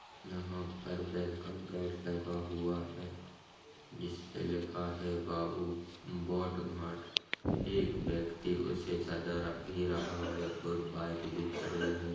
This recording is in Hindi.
यहा पर वलकोमे गेट लगा हुआ है जिसपे लिखा है बाबु बोट घाट एक व्यक्ति रहा बाइक भी खड़ी है।